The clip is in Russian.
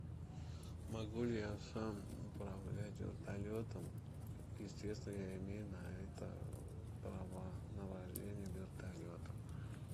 могу ли я сам управлять вертолетом естественно я имею на это права на вождение вертолетом